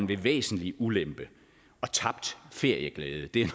ved væsentlig ulempe og tabt ferieglæde det er